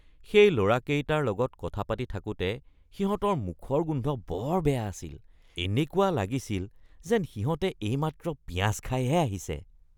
সেই ল’ৰাকেইটাৰ লগত কথা পাতি থাকোতে সিহঁতৰ মুখৰ গোন্ধ বৰ বেয়া আছিল। এনেকুৱা লাগিছিল যেন সিহঁতে এইমাত্ৰ পিঁয়াজ খাইহে আহিছে।